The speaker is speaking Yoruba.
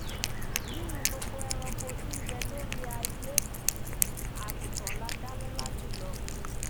nínú gbogbo ẹranko tí nbẹ lórí aiyé àgùntàn lá dá lọla jùlọ